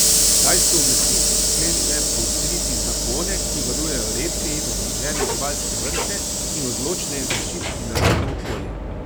Kitajske oblasti so sklenile poostriti zakone, ki varujejo redke in ogrožene živalske vrste, in odločneje zaščititi naravno okolje.